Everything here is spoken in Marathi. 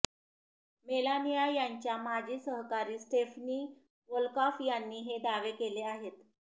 मेलानिया यांच्या माजी सहकारी स्टेफनी वोल्कॉफ यांनी हे दावे केले आहेत